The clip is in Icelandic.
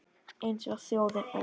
Eins og þjóðin öll